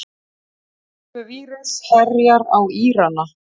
Tölvuvírus herjar á Írana